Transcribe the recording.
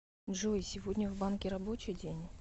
джой сегодня в банке рабочий день